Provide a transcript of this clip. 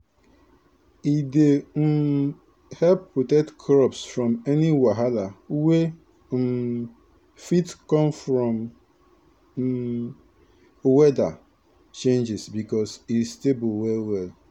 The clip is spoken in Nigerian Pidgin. e dey um help protect crops from any wahala wey um fit come from um weather changes because e stable well well.